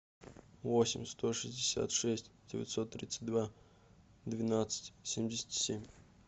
восемь сто шестьдесят шесть девятьсот тридцать два двенадцать семьдесят семь